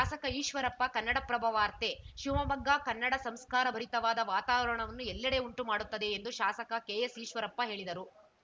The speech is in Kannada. ಶಾಸಕ ಈಶ್ವರಪ್ಪ ಕನ್ನಡಪ್ರಭ ವಾರ್ತೆ ಶಿವಮೊಗ್ಗ ಕನ್ನಡ ಸಂಸ್ಕಾರ ಭರಿತವಾದ ವಾತಾವರಣವನ್ನು ಎಲ್ಲೆಡೆ ಉಂಟು ಮಾಡುತ್ತದೆ ಎಂದು ಶಾಸಕ ಕೆಎಸ್‌ ಈಶ್ವರಪ್ಪ ಹೇಳಿದರು